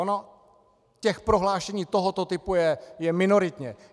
Ono těch prohlášení tohoto typu je minoritně.